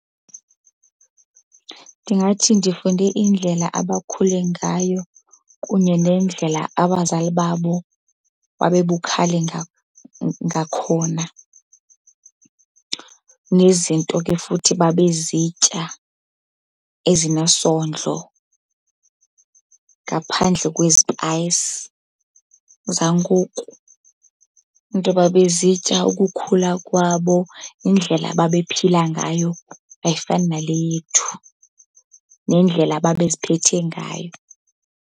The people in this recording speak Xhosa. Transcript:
Ndingathi ndifunde indlela abakhule ngayo kunye nendlela abazali babo babebukhali ngakhona. Nezinto ke futhi babezitya ezinesondlo, ngaphandle kwezipayisi zangoku. Iinto ababezitya ukukhula kwabo, indlela ababephila ngayo ayifani nale yethu, nendlela ababeziphethe ngayo.